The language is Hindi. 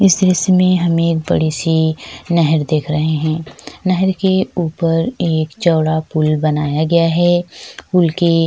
इसमें हमे एक बड़ी-सी नहर देख रहे है नहर के ऊपर एक चौड़ा पुल बनाया गया है ] पुल के। --